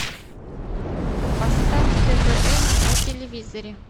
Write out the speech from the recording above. поставь твн на телевизоре